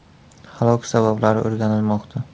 Halok sabablari o‘rganilmoqda.